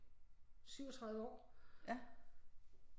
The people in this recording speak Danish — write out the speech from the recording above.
38 år